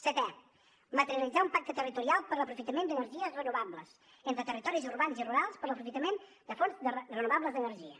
setè materialitzar un pacte territorial per a l’aprofitament d’energies renovables entre territoris urbans i rurals per a l’aprofitament de fonts renovables d’energia